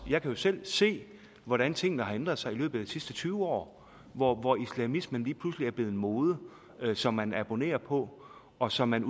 jo selv se hvordan tingene har ændret sig i løbet af de sidste tyve år hvor hvor islamismen lige pludselig er blevet en mode som man abonnerer på og som man